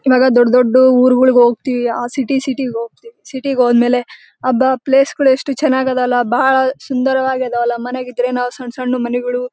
ಇವಾಗ ದೊಡ್ಡ ದೊಡ್ಡ ಉರಗಳಿಗೆ ಹೋಗತ್ತೀವಿ ಆ ಸಿಟಿ ಸಿಟಿ ಹೋಗತ್ತೀವಿ ಸೀಟಿಗೆ ಹೋದಮೇಲೆ ಅಬ್ಬಾ ಪ್ಲೇಸಗಳು ಎಷ್ಟು ಚನ್ನಾಗಲಲ್ ಬಹಳ್ ಸುಂದರವಾಗಿ ಮನೆಗಿದ್ರೆ ನಾವ್ ಸಣ್ಣ ಸಣ್ಣ ಮನೆಗಳು--